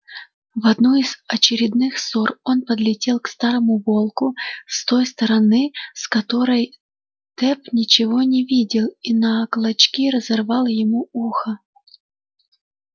в одну из очередных ссор он подлетел к старому волку с той стороны с которой тёп ничего не видел и на клочки разорвал ему ухо